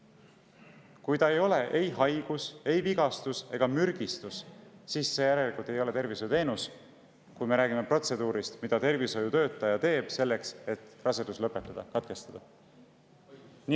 Kui ta ei ole ei haigus, ei vigastus ega mürgistus, siis järelikult see ei ole tervishoiuteenus, kui me räägime protseduurist, mida tervishoiutöötaja teeb selleks, et rasedus lõpetada, katkestada.